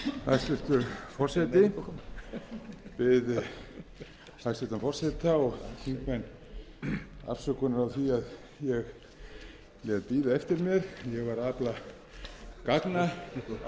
hæstvirtur forseti ég bið hæstvirtan forseta og þingmenn afsökunar á því að ég lét bíða eftir mér ég var að afla gagna í